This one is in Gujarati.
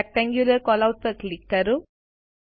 રેક્ટેન્ગ્યુલર કેલઆઉટ પર ક્લિક કરો